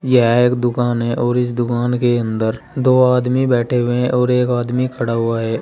यह एक दुकान है और इस दुकान के अंदर दो आदमी बैठे हुए है और एक आदमी खड़ा हुआ है।